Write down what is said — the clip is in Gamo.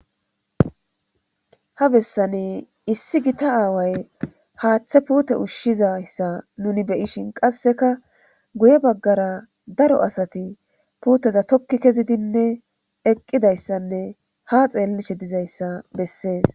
ha bessani issi gita aaway haaththe puute ushshizayssa nuni beyishin qasseka guye baggara daro asati puuteza tokki kezidinne eqqidayssanne ha xeellishe dizayssa bessees